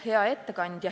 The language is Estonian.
Hea ettekandja!